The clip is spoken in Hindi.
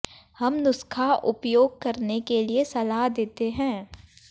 हम नुस्खा उपयोग करने के लिए सलाह देते हैं